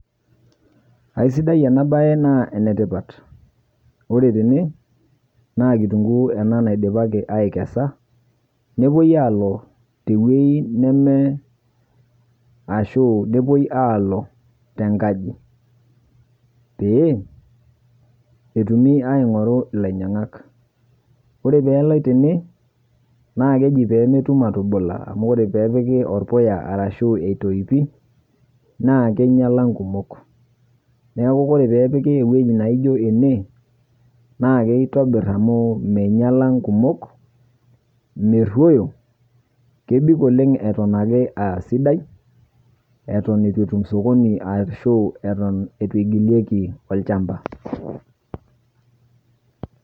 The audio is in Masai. Aisidai ena baye naa enetipat, ore tene naa kitunguu ena naidipaki aikesa nepuoi aalo tenkaji pee etumi aing'oru ilainyiang'ak, ore pee eloi tene naa keji pee metum atubula amu ore pee epiki orpuya arashu etoipi naa keinyiala inkumok neeku ore pee epiki ewueji naijio ene naa keitobirr amu meinyiala nkumok merruoyo eton itu etum sokoni ashu eton itu igilieki olchamba.